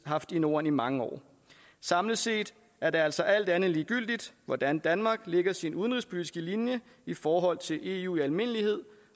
haft i norden i mange år samlet set er det altså alt andet end ligegyldigt hvordan danmark lægger sin udenrigspolitiske linje i forhold til eu i almindelighed